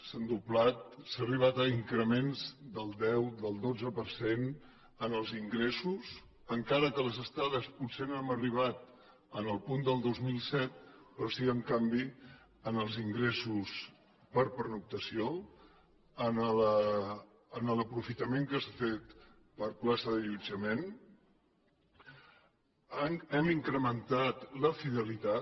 s’ha arribat a increments del deu del dotze per cent en els ingressos encara que a les estades potser no hem arribat al punt del dos mil set però sí en canvi en els ingressos per pernoctació en l’aprofitament que s’ha fet per plaça d’allotjament hem incrementat la fidelitat